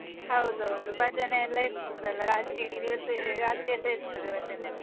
ಹೌದೌದು, ಭಜನೆ ಎಲ್ಲ ಇರ್ತದೆ ಅಲ್ಲ ರಾತ್ರೆಯಿಡೀ ದಿವಸ ರಾತ್ರಿಯೆಲ್ಲಾ ಇರ್ತದೆ ಭಜನೆ ಎಲ್ಲ.